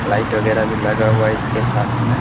Light वगैरा भी लगा हुआ है इसके साथ में।